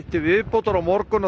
til viðbótar á morgun og